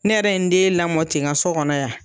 Ne yɛrɛ ye n den lamɔ ten, n ka so kɔnɔ yan.